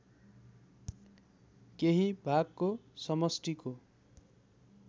केही भागको समष्टिको